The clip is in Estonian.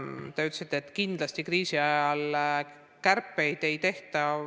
Te ütlesite, et kindlasti kriisi ajal kärpeid ei tehta.